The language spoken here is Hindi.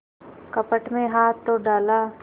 कपट में हाथ तो डाला